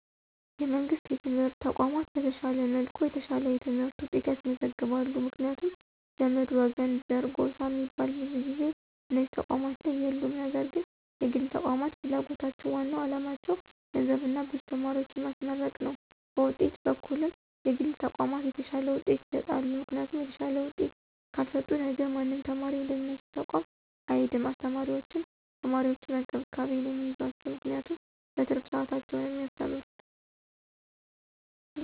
የመንግሥት የትምህርት ተቋማት በተሻለ መልኩ የተሻለ የትምህርት ውጤት ያስመዘግባሉ ምክንያቱም ዘመድ፣ ወገን፣ ዘር፣ ጎሳ ሚባል ብዙ ጊዜ እነዚህ ተቋማት ላይ የሉም ነገር ግን የግል ተቋማት ፍላጎታቸው ዋናው አላማቸው ገንዘብና ብዙ ተማሪዎችን ማስመረቅ ነው በውጤት በኩልም የግል ተቋማት የተሻለ ውጤት ይሰጣሉ ምክንያቱም የተሻለ ውጤት ካልሰጡ ነገ ማንም ተማሪ ወደነሱ ተቋም አይሄድም አስተማሪዎችም ተማሪዎችን በእንክብካቤ ነው ሚይዟቸው ምክንያቱም በትርፍ ሰዓታቸው ነው ሚያስተምሩት።